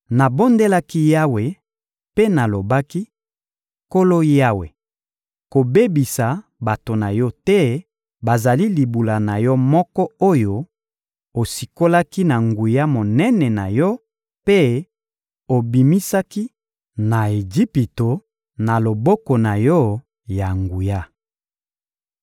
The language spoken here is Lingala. Nabondelaki Yawe mpe nalobaki: «Nkolo Yawe, kobebisa bato na Yo te, bazali libula na Yo moko oyo osikolaki na nguya monene na Yo mpe obimisaki na Ejipito na loboko na Yo ya nguya.